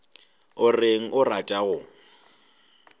o reng a rata go